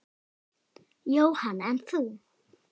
Jóhann: En þú?